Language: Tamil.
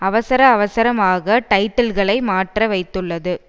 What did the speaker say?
அவசரஅவசரமாக டைட்டில்களை மாற்ற வைத்துள்ளது